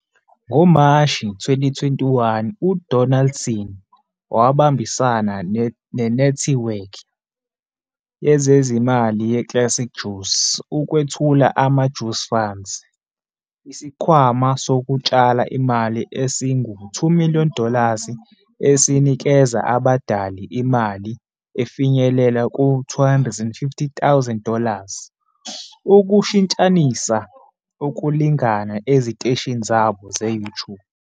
NgoMashi 2021, uDonaldson wabambisana nenethiwekhi yezezimali yeClassic Juice ukwethula amaJuice Funds, isikhwama sokutshala imali esingu-2 million dollars esinikeza abadali imali efinyelela ku-250,000 dollars ukushintshanisa ukulingana eziteshini zabo ze-YouTube.